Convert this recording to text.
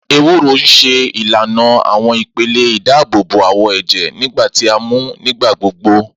Ewúro n ṣe ilana awọn ipele idaabobo awọ ẹjẹ nigba ti a mu nigbagbogbo.